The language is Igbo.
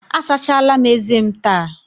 Asachala m eze m taa.